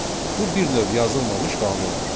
Bu bir növ yazılmamış qanundur.